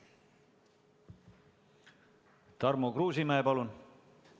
Tarmo Kruusimäe, palun!